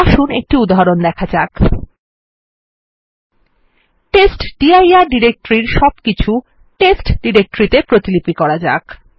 আসুন একটি উদাহরণ দেখা যাক আসুন টেস্টডির ডিরেক্টরির সবকিছু টেস্ট ডিরেক্টরির তে প্রতিলিপি করা যাক